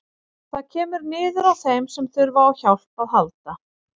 Það kemur niður á þeim sem þurfa á hjálp að halda.